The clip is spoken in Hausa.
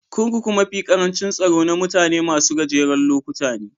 Kurkuku mafi karancin tsaro na mutane masun gajeren lokuta ne.